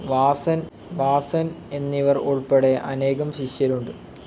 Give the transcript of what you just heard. വാസൻ എന്നിവർ ഉൾപ്പെടെ അനേകം ശിഷ്യരുണ്ട്.